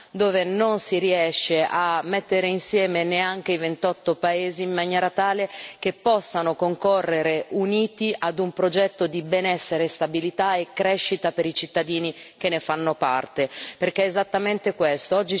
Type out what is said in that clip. dove non si riescono a mettere insieme neanche i 28 paesi in maniera tale che possano concorrere uniti ad un progetto di benessere, stabilità e crescita per i cittadini che ne fanno parte, perché è esattamente questo.